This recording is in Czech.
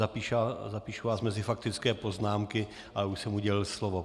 Zapíšu vás mezi faktické poznámky, ale už jsem udělil slovo.